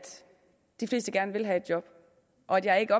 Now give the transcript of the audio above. de fleste gerne vil have et job og at jeg ikke